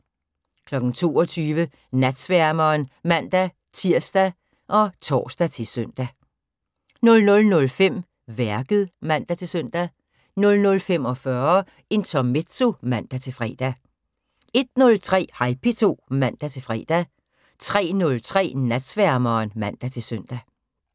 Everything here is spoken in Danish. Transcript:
22:00: Natsværmeren (man-tir og tor-søn) 00:05: Værket (man-søn) 00:45: Intermezzo (man-fre) 01:03: Hej P2 (man-fre) 03:03: Natsværmeren (man-søn)